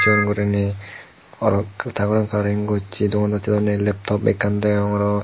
aro ta goran colouring gosse dogan dasse dw ney leptop ekkan degong aro.